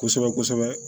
Kosɛbɛ kosɛbɛ